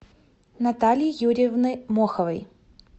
натальи юрьевны моховой